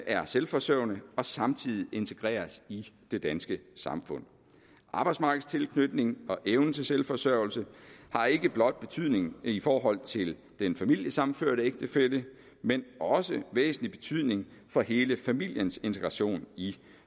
er selvforsørgende og samtidig integreres i det danske samfund arbejdsmarkedstilknytning og evnen til selvforsørgelse har ikke blot betydning i forhold til den familiesammenførte ægtefælle men også væsentlig betydning for hele familiens integration i